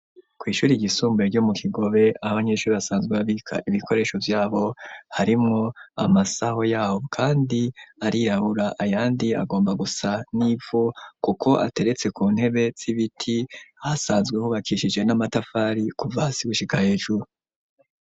Kw'ishure ry'isumbuye ryo mu kigobe abanyesure basanzwe babika ibikoresho vyabo harimwo amasaho yabo kandi arirabura ayandi agomba gusa n'ivu kuko ateretse ku ntebe hasanzwe hubakishije n'amatafari kuva hasi gushika hejuru.